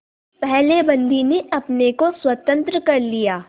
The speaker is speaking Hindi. पहले बंदी ने अपने को स्वतंत्र कर लिया